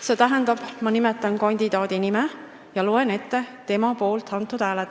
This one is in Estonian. st ma nimetan kandidaadi nime ja loen ette tema poolt antud hääled.